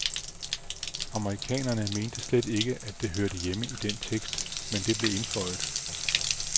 Amerikanerne mente slet ikke, at det hørte hjemme i den tekst, men det blev indføjet.